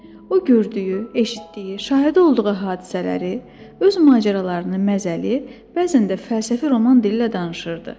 O gördüyü, eşitdiyi, şahidi olduğu hadisələri, öz macəralarını məzəli, bəzən də fəlsəfi roman dili ilə danışırdı.